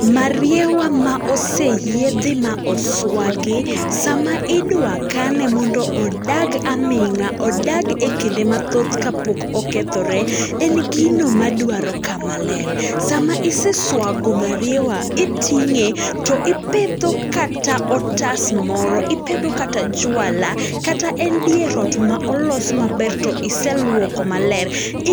Mariewa ma oseyiedhi ma oswagi. Sama idwa kane mondo odag aming'a, odag e kinde mathoth ka pok okethore, en gino madwaro kama ler. Sama iseswago mariewa iting'e to ipedho kata otas moro, ipedho kata jwala, kata en dier ot ma olos maber to iseluoko maler.